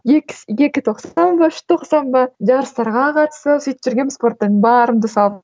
екі тоқсан ба үш тоқсан ба жарыстарға қатысып сөйтіп жүргенмін спорттан барымды салып